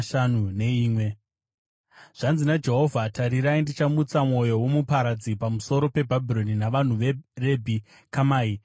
Zvanzi naJehovha: “Tarirai, ndichamutsa mwoyo womuparadzi pamusoro peBhabhironi navanhu veRebhi Kamai.